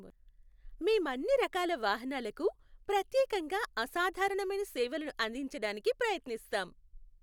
మేం అన్ని రకాల వాహనాలకు ప్రత్యేకంగా అసాధారణమైన సేవలను అందించడానికి ప్రయత్నిస్తాం.